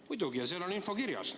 Muidugi, seal on info kirjas.